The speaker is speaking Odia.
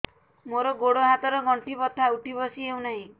ମୋର ଗୋଡ଼ ହାତ ର ଗଣ୍ଠି ବଥା ଉଠି ବସି ହେଉନାହିଁ